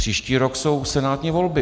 Příští rok jsou senátní volby.